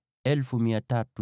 ngʼombe 36,000,